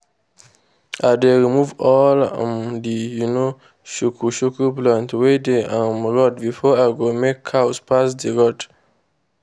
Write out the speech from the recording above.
i dey remove all um the um shuku-shuku plants wey dey um road before i go make my cows pass d road.